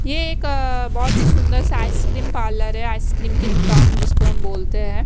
ये एक अ बहोत ही सुंदर सा आइसक्रीम पार्लर है आइसक्रीम की दुकान जिसको हम बोलते हैं।